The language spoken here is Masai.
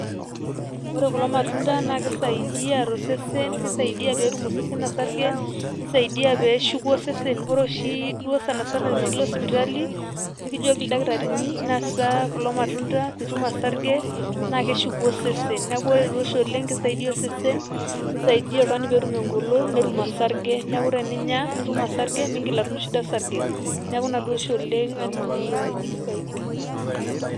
Ore kulo matunda naa kisaidia to osesen, kisaidia peetum osesen osarge, kisaidia pee eshuku osesen, ore oshi duo sana sana tenilo sipitali nekijoki ildakitarini nasa kulo matunda piitum osarge naake eshuku osesen. Neeku ore duo oshi oleng' naake isaidia osesen, nisaidia oltung'ani peetum eng'olon, netum osarge neeku teninya nitum osarge, miing'il atum shida osarge neeku ina duo oshi oleng' aning'ito ajo kisaidia.